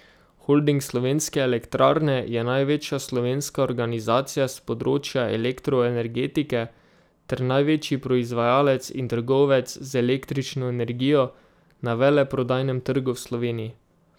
Holding Slovenske elektrarne je največja slovenska organizacija s področja elektroenergetike ter največji proizvajalec in trgovec z električno energijo na veleprodajnem trgu v Sloveniji.